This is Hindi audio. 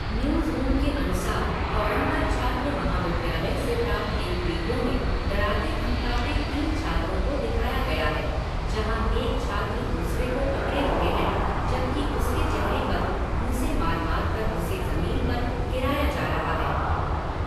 न्यूज़रूम के अनुसार, तौरंगा छात्र महाविद्यालय से प्राप्त एक वीडियो में डराते धमकाते तीन छात्रों को दिखाया गया है जहाँ एक छात्र दूसरे को पकड़े हुए है, जबकि उसके चेहरे पर घूंसे मार मार कर उसे जमीन पर गिराया जा रहा है।